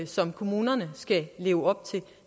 som kommunerne skal leve op til